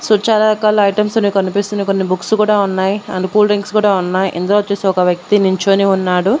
So చాలా రకాల items అనేవి కనిపిస్తున్నాయి కొన్ని బుక్స్ కూడా ఉన్నాయి ఆండ్ కూల్ డ్రింక్స్ కూడా ఉన్నాయి ఇందులో వచ్చేసి ఒక వ్యక్తి నించొని ఉన్నాడు.